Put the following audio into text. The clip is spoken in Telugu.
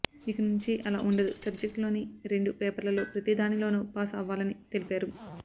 ఇక నుంచి అలా ఉండదు సబ్జెక్ట్ లోని రెండు పేపర్లలో ప్రతిదానిలోనూ పాస్ అవ్వాలని తెలిపారు